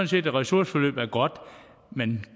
set at ressourceforløb er godt men